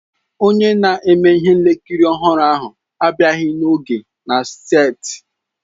Onye na-eme ihe nkiri ọhụrụ ahụ abịaghị n'oge na seeti.